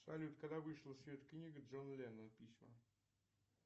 салют когда вышла в свет книга джона ленона письма